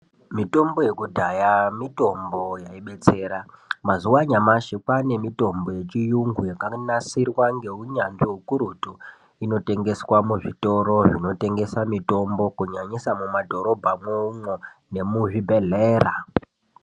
Mutombo yekudhaya mitombo yaibetsera. Mazuwano anyamashi Kwane mitombo yechiyungu yakanasirwa ngeunyanzvi ukurutu inotengeswa muzvitoro zvinotengesa kunyanyisa mumadhorobhamwo umwo nemuzvibhedhlera.